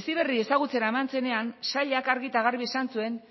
heziberri ezagutzera eman zenean sailak argi eta garbi esan zuen